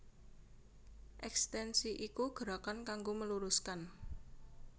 Ekstensi iku gerakan kanggo meluruskan